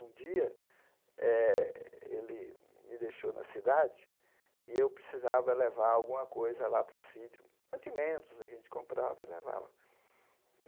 Um dia eh, ele me deixou na cidade e eu precisava levar alguma coisa lá para o sítio, mantimentos, a gente comprava e levava.